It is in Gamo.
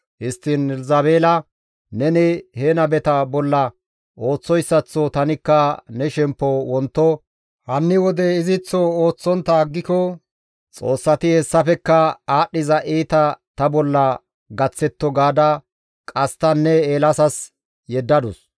Histtiin Elzabeela, «Neni he nabeta bolla ooththoyssaththo tanikka ne shemppo wonto hanni wode iziththo ooththontta aggiko xoossati hessafekka aadhdhiza iita ta bolla gaththetto» gaada qasttanne Eelaasas yeddadus.